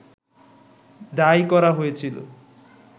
দায়ী করা হয়েছিল